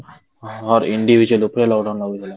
individual ଉପରେ lockdown ଲାଗିଥିଲା,